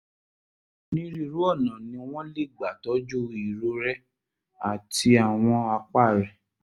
onírúurú ọ̀nà ni wọ́n lè gbà tọ́jú irorẹ́ àti àwọn àpá rẹ̀